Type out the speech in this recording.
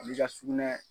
A b'i ka sugunɛ